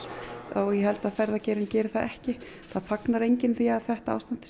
og ég held að ferðageirinn geri það ekki það fagnar enginn því að þetta ástand